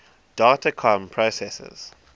data comm processors